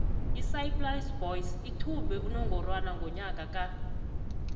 isaaiplas boys ithumbe unongorwana ngonyaka ka